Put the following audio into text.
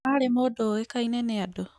Aarĩ mũndũ ũĩkaine nĩ andũ